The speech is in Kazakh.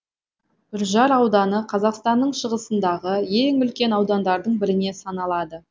үржар ауданы қазақстанның шығысындағы ең үлкен аудандардың біріне саналады